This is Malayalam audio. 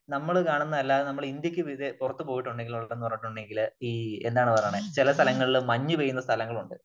നമ്മള് കാണുന്നതല്ലാതെ നമ്മള് ഇന്ത്യ ക്ക് പുറത്തുപോയിട്ടുണ്ടെങ്കിൽ എന്ന് പറഞ്ഞിട്ടുണ്ടെങ്കില് ഈ എന്നാണ് പറയുന്നെ ചില സ്ഥലങ്ങളിൽ മഞ്ഞു വീഴുന്ന സ്ഥലങ്ങളുണ്ട്